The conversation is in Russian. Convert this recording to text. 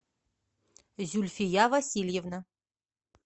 зюльфия васильевна